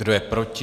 Kdo je proti?